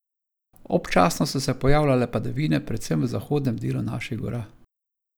Občasno so se pojavljale padavine predvsem v zahodnem delu naših gora.